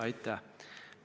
Aitäh!